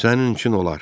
Sənin üçün olar.